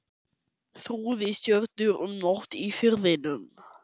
Þrúði stjörnur um nótt í Firðinum.